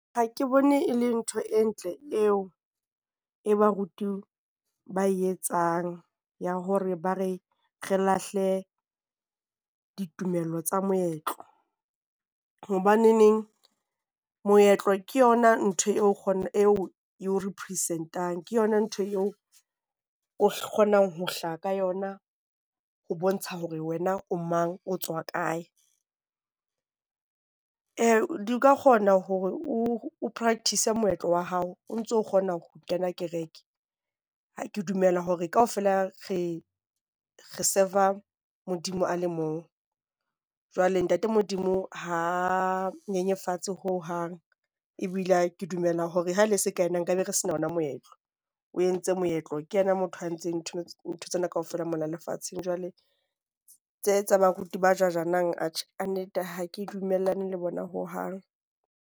Ha ke bone e le ntho e ntle eo eo baruti ba e etsang ya hore ba re re lahle ditumelo tsa moetlo. Hobaneneng moetlo ke yona ntho eo e o represent-ang. Ke yona ntho eo o kgonang ho hlaha ka yona ho bontsha hore wena o mang, o tswa kae. Ee, di ka kgona hore o practice-e moetlo wa hao o ntso kgona ho kena kereke. Ke dumela hore kaofela re re serv-a Modimo a le mong. Jwale ntate Modimo ha nyenyefatse ho hang, ebile ke dumela hore ha ne e se ka ena nkabe re sena ona moetlo. O entse moetlo, ke yena motho a ntseng ntho tsena kaofela mona lefatsheng jwale tse tsa baruti ba judge-nang, atjhe kannete ha ke dumellane le bona ho hang.